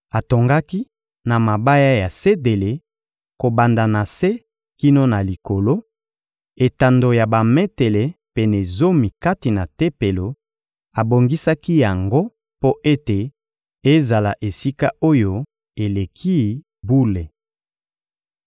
Atongaki na mabaya ya sedele, kobanda na se kino na likolo, etando ya bametele pene zomi kati na Tempelo; abongisaki yango mpo ete ezala Esika-Oyo-Eleki-Bule.